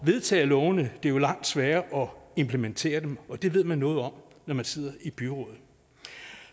vedtage lovene det er langt sværere at implementere dem det ved man noget om når man sidder i byrådet